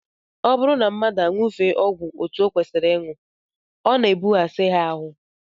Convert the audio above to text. Ọ bụrụ na mmadụ aṅụfee ọgwụ etu ọ kwesịrị ịṅụ, ọ na-ebughasị ya ahụ